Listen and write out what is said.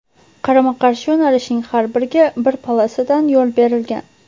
Qarama-qarshi yo‘nalishning har biriga bir polosadan yo‘l berilgan.